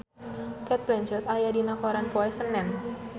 Cate Blanchett aya dina koran poe Senen